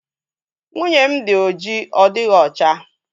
Nwunye m dị oji ọ dịghị ocha